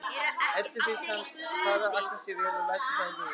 Eddu finnst hann fara Agnesi vel og lætur það í ljós.